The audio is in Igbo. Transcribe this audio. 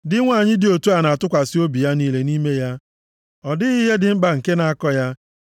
Di nwanyị dị otu a na-atụkwasị obi ya niile nʼime ya, ọ dịghị ihe dị mkpa nke na-akọ ya.